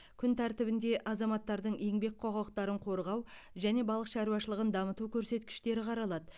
күн тәртібінде азаматтардың еңбек құқықтарын қорғау және балық шаруашылығын дамыту көрсеткіштері қаралады